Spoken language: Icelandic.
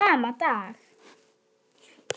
Þennan sama dag